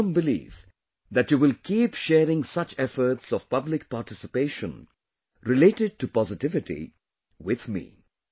I am of the firm belief that you will keep sharing such efforts of public participation related to positivity with me